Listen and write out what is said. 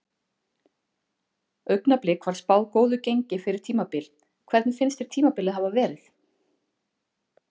Augnablik var spáð góðu gengi fyrir tímabil, hvernig finnst þér tímabilið hafa verið?